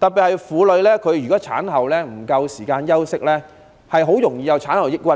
如果婦女產後休息不足，特別容易患上產後抑鬱。